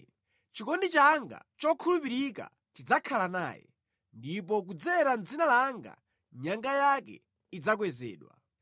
Chikondi changa chokhulupirika chidzakhala naye, ndipo kudzera mʼdzina langa nyanga yake idzakwezedwa.